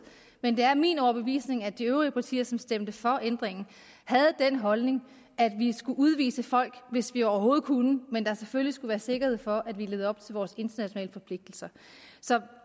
men det er min overbevisning at de øvrige partier som stemte for ændringen havde den holdning at vi skulle udvise folk hvis vi overhovedet kunne men at der selvfølgelig skulle være sikkerhed for at vi levede op til vores internationale forpligtelser så